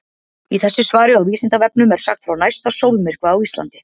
Í þessu svari á Vísindavefnum er sagt frá næsta sólmyrkva á Íslandi.